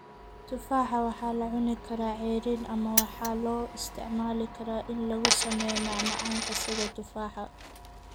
Tufaaxa waxaa la cuni karaa ceeriin ama waxaa loo isticmaali karaa in lagu sameeyo macmacaanka sida tufaaxa.